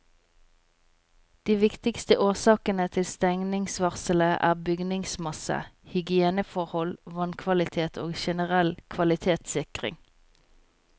De viktigste årsakene til stengningsvarselet er bygningsmasse, hygieneforhold, vannkvalitet og generell kvalitetssikring.